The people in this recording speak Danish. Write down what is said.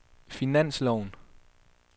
finansloven